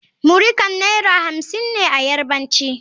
muri Kan Naira hamsin ne a Yarbanci.